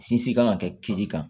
Sinsin kan ka kɛ kili kan